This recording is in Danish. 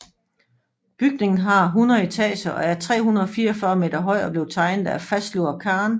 Bygningen har 100 etager og er 344 meter høj og blev tegnet af Fazlur Khan